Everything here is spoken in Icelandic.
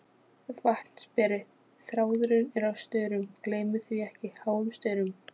VATNSBERI: Þráðurinn er á staurum, gleymið því ekki, háum staurum.